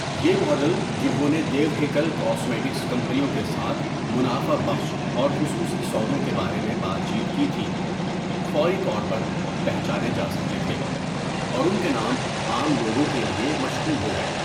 یہ ماڈل، جنہوں نے دیو ہیکل کاسمیٹکس کمپنیوں کے ساتھ منافع بخش اور خصوصی سودوں کے بارے میں بات چیت کی تھی، فوری طور پر پہچانے جا سکتے تھے، اور ان کے نام عام لوگوں کے لیے مشہور ہو گئے۔